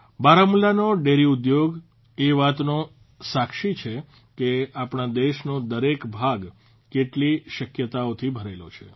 બારામુલાનો dairy ઉદ્યોગ એ વાતનો સાક્ષી છે કે આપણા દેશનો દરેક ભાગ કેટલી શક્યતાઓથી ભરેલો છે